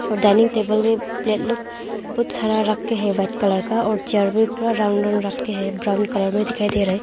और dining table बहुत सारा रखे हैं व्हाईट कलर का और चेयर भी पूरा राउंड राउंड रखे हैं ब्राऊन कलर में दिखाई दे रहा है।